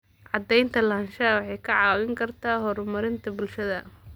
Cadaynta lahaanshaha waxay kaa caawin kartaa horumarinta bulshada.